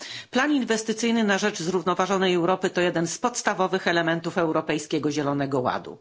Plan inwestycyjny na rzecz zrównoważonej Europy to jeden z podstawowych elementów Europejskiego Zielonego Ładu.